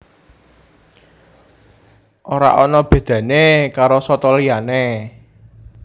Ora ana bedané karo soto liyané